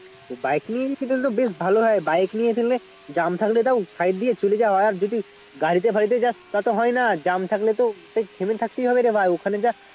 তো bike নিয়ে গেলে তো ভালোই হয় তোর জ্যাম থাকলে side দিয়ে চলে যাওয়া হবে যদি গাড়িতে ফাঁড়িতে যাস তা তো হয় না jam থাকলে তো থেমে থাকতে হবে রে ভাই